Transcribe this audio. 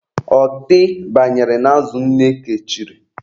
Ọtị banyere n'azụ nne kechiri.